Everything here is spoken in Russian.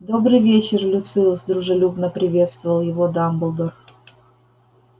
добрый вечер люциус дружелюбно приветствовал его дамблдор